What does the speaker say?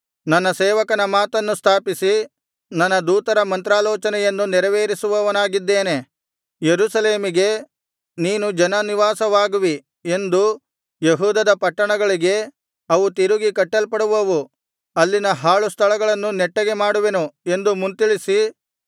ನನ್ನ ಸೇವಕನ ಮಾತನ್ನು ಸ್ಥಾಪಿಸಿ ನನ್ನ ದೂತರ ಮಂತ್ರಾಲೋಚನೆಯನ್ನು ನೆರವೇರಿಸುವವನಾಗಿದ್ದೇನೆ ಯೆರೂಸಲೇಮಿಗೆ ನೀನು ಜನ ನಿವಾಸವಾಗುವಿ ಎಂದು ಯೆಹೂದದ ಪಟ್ಟಣಗಳಿಗೆ ಅವು ತಿರುಗಿ ಕಟ್ಟಲ್ಪಡುವವು ಅಲ್ಲಿನ ಹಾಳು ಸ್ಥಳಗಳನ್ನು ನೆಟ್ಟಗೆ ಮಾಡುವೆನು ಎಂದು ಮುಂತಿಳಿಸಿ